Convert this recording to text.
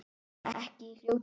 Ekki í fljótu bragði.